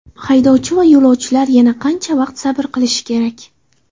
Haydovchi va yo‘lovchilar yana qancha vaqt sabr qilishi kerak?